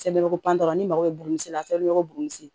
ni mago bɛ burɛti si la fɛn bɛɛ bɛ yɔrɔ buruni si